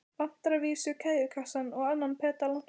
Vantar að vísu keðjukassann og annan pedalann.